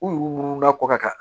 U yuru la kɔkɔ